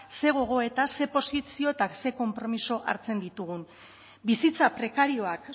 ze gogoeta ze posizio eta ze konpromiso hartzen ditugun bizitza prekarioak